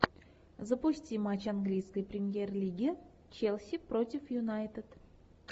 запусти матч английской премьер лиги челси против юнайтед